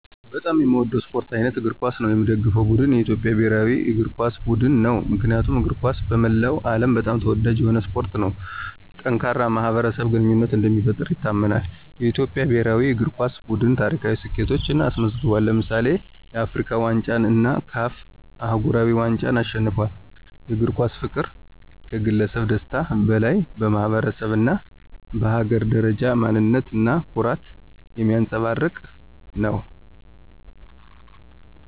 በጣም የሚወደው የስፖርት አይነት እግር ኳስ ነው። የሚደገፈው ቡድን የኢትዮጵያ ብሔራዊ እግር ኳስ ቡድን ነው። ምክንያቱም እግር ኳስ በመላው ዓለም በጣም ተወዳጅ የሆነ ስፖርት ነው። ጠንካራ የማኅበረሰብ ግንኙነትን እንደሚፈጥር ይታመናል። የኢትዮጵያ ብሔራዊ እግር ኳስ ቡድን ታሪካዊ ስኬቶችን አስመዝግቧል። ለምሳሌ፣ የአፍሪካ ዋንጫን እና CAF አህጉራዊ ዋንጫን አሸንፏል። የእግር ኳስ ፍቅር ከግለሰብ ደስታ በላይ በማኅበረሰብ እና በሀገር ደረጃ ማንነት እና ኩራትን የሚያንፀባርቅ ነው።